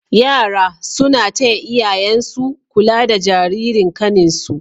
yara suna taya iyayansu kula da Jaririn kanin su